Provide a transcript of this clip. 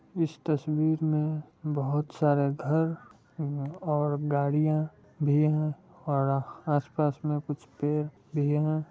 इस तस्वीर मे बहुत सारा घर आ और गाड़ियां भी है और आस पास मे कुछ पेड़ भी है।